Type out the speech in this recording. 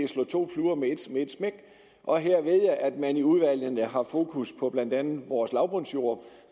slå to fluer med et smæk og her vælge at man i udvalgene har fokus på blandt andet vores lavbundsjorde